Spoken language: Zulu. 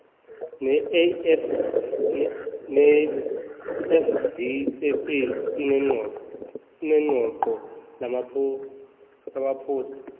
nafvsa ineqoqo lamaphosta